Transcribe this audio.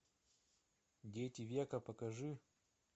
дети века покажи